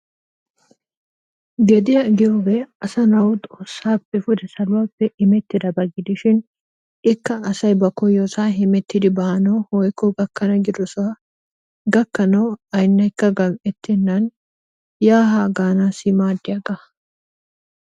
Gediyaa giyoge asanawu xossappe pude saluwappe immetidabaa gidishin ikka asay ba koyosa hemetiddi banawu woyko gakanna gidosa gakanawu aynekka gametenanni ya ha ganassi madiyaga.